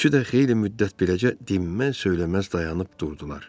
Üçü də xeyli müddət beləcə dinməz-söyləməz dayanıb durdular.